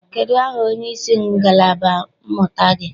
Kedụ aha onyeisi ngalaba mmụta gị?